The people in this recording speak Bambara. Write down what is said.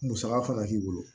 Musaka fana k'i bolo